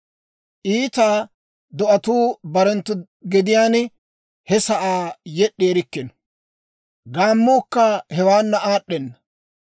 Iita do'atuu barenttu gediyaan he sa'aa yed'd'i erikkino; gaammuukka hewaana aad'd'ena.